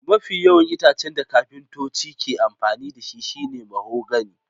Mafi yawan itacen da kafintoci ke amfani da shi shine mahogany